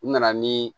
U nana ni